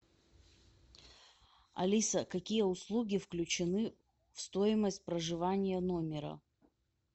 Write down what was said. алиса какие услуги включены в стоимость проживания номера